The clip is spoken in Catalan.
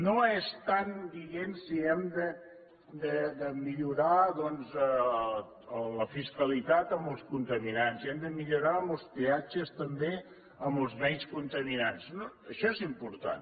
no estem dient si hem de millorar doncs la fiscalitat amb els contaminants si hem de millorar els peatges també amb els menys contaminants no això és important